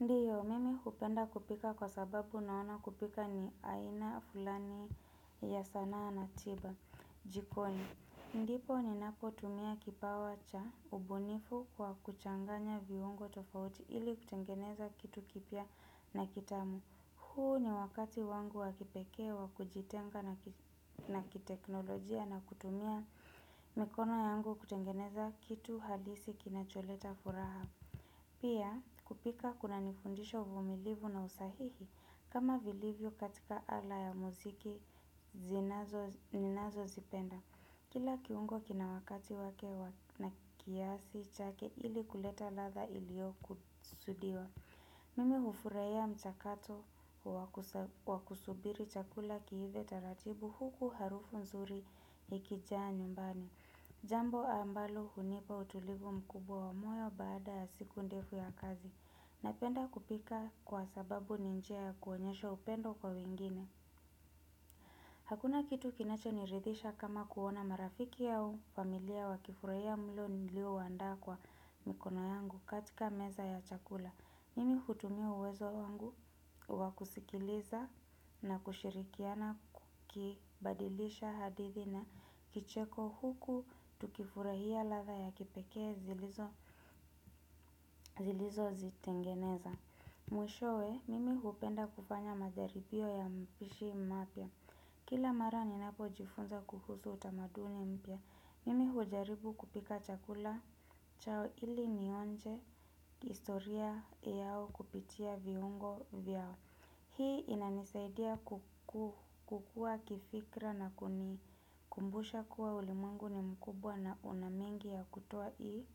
Ndiyo, mimi hupenda kupika kwa sababu naona kupika ni aina fulani ya sanaa na tiba jikoni. Ndioo ninapo tumia kipawa cha ubunifu kwa kuchanganya viungo tofauti ili kutengeneza kitu kipya na kitamu. Huu ni wakati wangu wa kipekee wa kujitenga na kiteknolojia na kutumia mikono yangu kutengeneza kitu halisi kinacholeta furaha. Pia kupika kuna nifundisha vumilivu na usahihi kama vilivyo katika ala ya muziki zinazo ninazozipenda. Kila kiungo kina wakati wake na kiasi chake ili kuleta ladha iliyo kusudiwa. Mimi hufurahia mchakato wa kusubiri chakula kiive taratibu huku harufu nzuri ikijaa nyumbani. Jambo ambalo hunipa utulivu mkubwa wa moyo baada ya siku ndefu ya kazi. Napenda kupika kwa sababu ni njia ya kuonyesha upendo kwa wengine. Hakuna kitu kinacho niridhisha kama kuona marafiki ya ufamilia wakifurahia mlo nilio waandaa kwa mikono yangu katika meza ya chakula. Mimi hutumia uwezo wangu wa kusikiliza na kushirikiana kubadilisha hadithi na kicheko huku tukifurahia ladha ya kipekee zilizo zitengeneza. Mwishowe, mimi hupenda kufanya majaribio ya mpishi mapya. Kila mara ninapo jifunza kuhusu utamaduni mpya. Mimi hujaribu kupika chakula chao ili nionje historia yao kupitia viungo vyao. Hii inanisaidia kukua kifikra na kuni kumbusha kuwa ulimwengu ni mkubwa na una mengi ya kutoa ili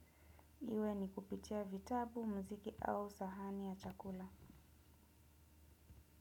iwe ni kupitia vitabu, mziki au sahani ya chakula.